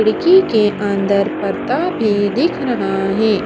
खिड़की के अंदर पर्दा भी दिख रहा है।